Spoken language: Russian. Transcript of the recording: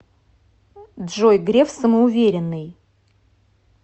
джой греф самоуверенный